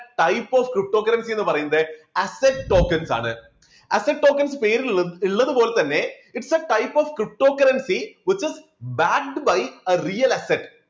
types of cryptocurrency എന്ന് പറയുന്നത് assets tokens ആണ്. asset tokens പേരിലുള്ളത് പോലെ തന്നെ its type of cryptocurrency which is backed by real assets